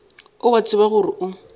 o a tseba gore o